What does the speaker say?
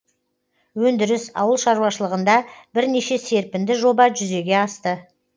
өндіріс ауыл шаруашылығында бірнеше серпінді жоба жүзеге асты